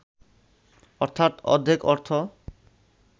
অর্থাৎ অর্ধেক অর্থ